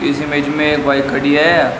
इस इमेज में एक बाइक खड़ी है।